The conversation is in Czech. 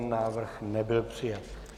Návrh nebyl přijat.